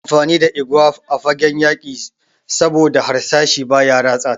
Ana amfani da igwa a fagen yaki saboda harsashi baya ratsa ta.